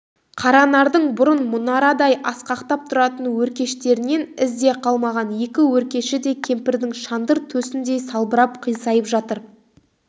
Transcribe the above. қаранардың бұрын мұнарадай асқақтап тұратын өркештерінен із де қалмаған екі өркеші де кемпірдің шандыр төсіндей салбырап қисайып жатыр